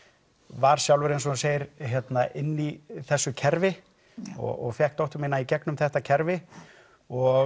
var sjálfur eins og þú segir inni í þessu kerfi og fékk dóttur mína í gegnum þetta kerfi og